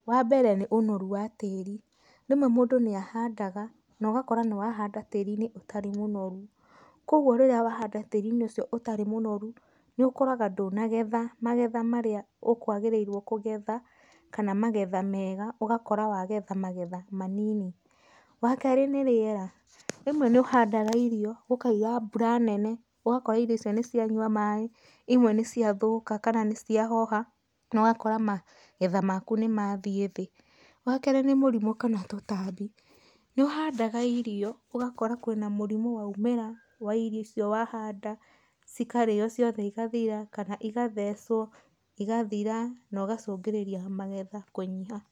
Wa mbere nĩ ũnoru wa tĩri. Rĩmwe mũndũ nĩ ahandaga, na ũgakora nĩ wahanda tĩri-inĩ ũtarĩ mũnoru. Kogwo rĩrĩa wahanda tĩri-inĩ ũcio ũtarĩ mũnoru, nĩ ũkoraga ndũnagetha magetha marĩa ũkwagĩrĩirwo kũgetha, kana magetha mega, ũgakora wagetha magetha manini. Wa kerĩ nĩ rĩera. Rĩmwe nĩ ũhandaga irio gũkaira mbura nene, ũgakora irio icio nĩ cianywa maĩ, imwe nĩ cia thũka kana nĩ cia hoha, na ũgakora magetha maku nĩ mathiĩ thĩ. Wa kerĩ nĩ mũrimũ kana tũtambi. Nĩ ũhandaga irio ũgakora kwĩna mũrimũ wa umĩra wa irio icio wahanda, cikarĩo ciothe igathira, kana igathecwo igathira na ũgacũngĩrĩria magetha kũnyiha.